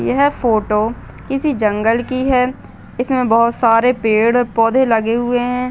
यह फोटो किसी जंगल की है। इसमें बहुत सारे पेड़ पौधे लगे हुए हैं।